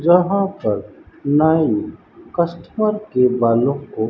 यहां पर नाई कस्टमर के बालों को--